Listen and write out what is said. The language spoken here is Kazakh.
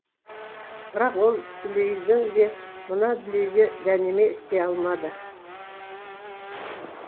бірақ ол дүлейдің де мына дүлейге дәнеме істей алмады